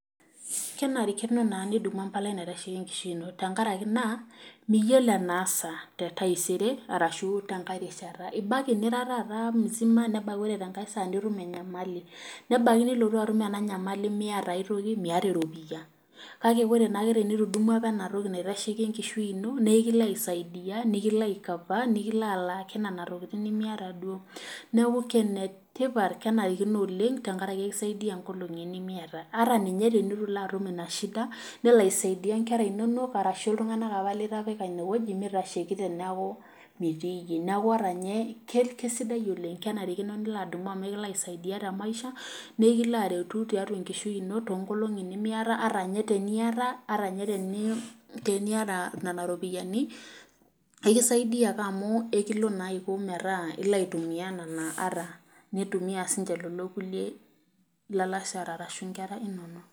Kenarikino naa nidumu empalai naitasheki enkishui ino tenkaraki naa miyiolo enaasa taisere orashu tenkae rishata .ebaiki nira taata msima ore tenkae saa nitum enyamali ,nebaiki nilotu atum ena nyamali miyata aitoki miyata eropiyia. kake tenitudumua naa apa ena toki naitasheki enkishui ino naa ekilo asisaidia nikilo aicover nikilo alaaki nena tokiting nimiyata duo. neeku enetipat kenarikino amu ekisaidia nkolongi nimiyata ,ata ninye tenetu ilo atum ina shida ,nelo aisaidia inkera inonok orashu iltunganak apa litipika ine weji meitasheki teneeku mitii yie. neeku ninye keisidai oleng, kenarikino nilo adumu amu ekilo aisaidia temaisha naa ekilo aretu tiatua enkishui ino toonkolongi nimiyata ata ninye tenimiyata nena ropiani ekisaidia ake amu ekilo naa iko metaa ilo aitumiyia ata nitumiyia siininche lelo kulie alashare orashu nkera inonok.